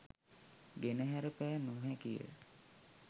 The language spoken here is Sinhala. ගෙනහැර පෑ නොහැකිය